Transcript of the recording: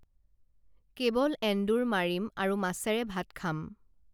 কেৱল এন্দুৰ মাৰিম আৰু মাছেৰে ভাত খাম